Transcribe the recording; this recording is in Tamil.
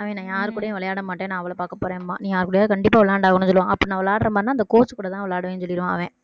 அவன் நான் யார்கூடயும் விளையாட மாட்டேன் நான் அவள பார்க்க போறேன்பான் நீ யார் கூடயாவது கண்டிப்பா விளையாடுவேன்னு சொல்லுவான் அப்ப நான் விளையாடுற மாதிரின்னா அந்த coach கூடதான் விளையாடுவேன்னு சொல்லிடுவான் அவன்